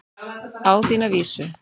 Á þína vísu.